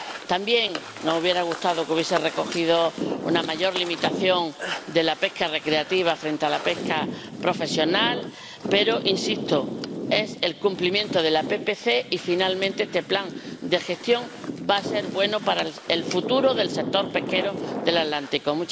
También nos hubiera gustado que hubiese recogido una mayor limitación de la pesca recreativa frente a la pesca profesional, pero, insisto, es el cumplimiento de la PPC y, finalmente, este plan de gestión va a ser bueno para el futuro del sector pesquero del Atlántico.